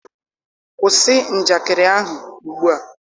kwụsị njakịrị ahụ ugbua!